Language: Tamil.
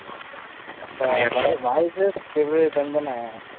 அப்ப, வாரிசு பிப்ரவரி ten தான?